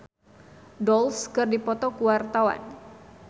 Alam jeung The Pussycat Dolls keur dipoto ku wartawan